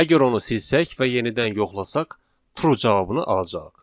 Əgər onu silsək və yenidən yoxlasaq, true cavabını alacağıq.